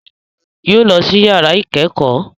Yóò lọ sí yàrá ìkẹ́kọ̀ọ́